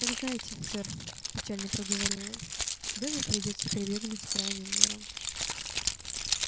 так знайте сэр печально проговорил эльф добби придётся прибегнуть к крайним мерам